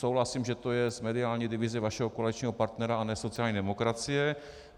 Souhlasím, že to je z mediální divize vašeho koaličního partnera a ne sociální demokracie.